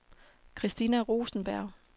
Christina Rosenberg